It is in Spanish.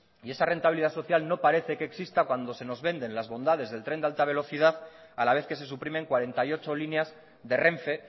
y esta rentabilidad social no parece que exista cuando se nos vende las bondades del tren de alta velocidad a la vez que se suprimen cuarenta y ocho líneas de renfe